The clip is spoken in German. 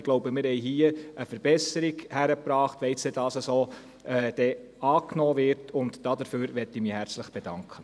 Ich glaube, wir haben hier eine Verbesserung erreicht, wenn dies so angenommen wird, und dafür möchte ich mich herzlich bedanken.